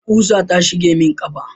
ƙusa ta shige mun kafa